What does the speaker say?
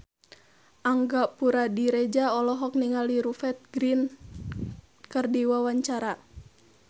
Angga Puradiredja olohok ningali Rupert Grin keur diwawancara